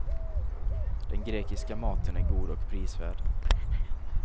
Den grekiska maten är god och prisvärd.